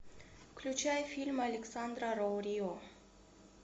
включай фильм александра роу рио